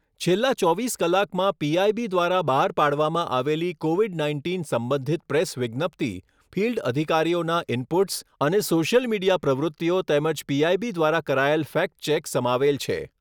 છેલ્લા ચોવીસ કલાકમાં પીઆઈબી દ્વારા બહાર પાડવામાં આવેલી કોવિડ નાઇન્ટીન સંબંધિત પ્રેસ વિજ્ઞપ્તિ, ફિલ્ડ અધિકારીઓના ઇનપુટ્સ અને સોશિયલ મીડિયા પ્રવૃત્તિઓ તેમજ પીઆઈબી દ્વારા કરાયેલ ફેક્ટ ચેક સમાવેલ છે